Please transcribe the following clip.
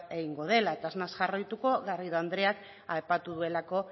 egingo dela eta ez naiz jarraituko garrido andreak aipatu duelako